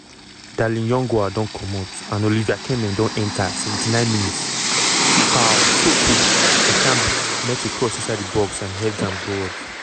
darlin yongwa don comot and olivier kemen don enta 79 mins - karl toko ekambi meet a cross inside di box and heads am goalwards.